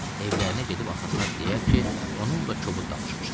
Evlərinə gedib atasına deyər ki, onunla kobud danışmışam.